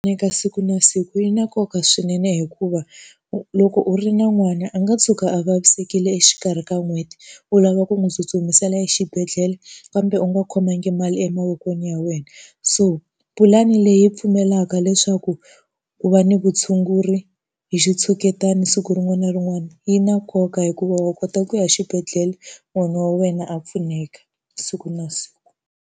Eka siku na siku yi na nkoka swinene hikuva, loko u ri na n'wana a nga tshuka a vavisekile exikarhi ka n'hweti u lava ku n'wi tsutsumisela exibedhlele kambe u nga khomangi mali emavokweni ya wena. So pulani leyi pfumelaka leswaku ku va ni vutshunguri hi xitshuketani siku rin'wana na rin'wana, yi na nkoka hikuva wa kota ku ya xibedhlele n'wana wa wena a pfuneka siku na siku.